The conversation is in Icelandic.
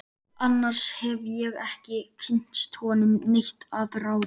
Annars hef ég ekki kynnst honum neitt að ráði.